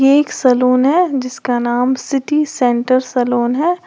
ये एक सलून है जिसका नाम सिटी सेंटर सलून है।